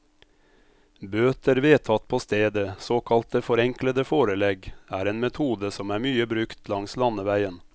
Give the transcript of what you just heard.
Bøter vedtatt på stedet, såkalte forenklede forelegg, er en metode som er mye brukt langs landeveien.